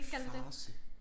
Farce